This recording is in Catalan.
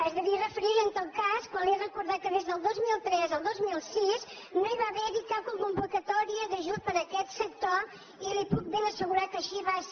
es devia referir en tot cas a quan li he recordat que des del dos mil tres al dos cents i sis no hi va haver cap convocatòria d’ajut per a aquest sector i li puc ben assegurar que així va ser